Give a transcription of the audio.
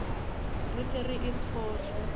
re ke re e tshohle